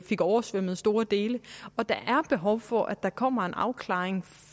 fik oversvømmet store dele og der er behov for at der kommer en afklaring